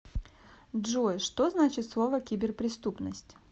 джой что значит слово киберпреступность